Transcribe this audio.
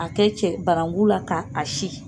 A kɛ cɛ barangu la ka a si.